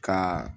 Ka